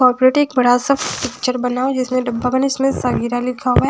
और प्रिटिक बड़ा सा पिक्चर बना जिसमें डब्बा बने जिसमें सगीरा लिखा हुआ है।